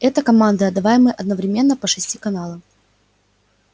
это команды отдаваемые одновременно по шести каналам